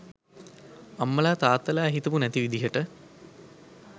අම්මලා තාත්තලා හිතපු නැති විදිහට